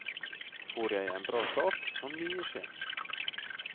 Får jeg en bra start, kan mye skje.